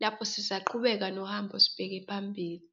lapho sisaqhubeka nohambo, sibheke phambili.